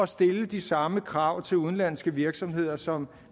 stille de samme krav til udenlandske virksomheder som